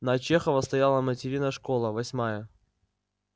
на чехова стояла материна школа восьмая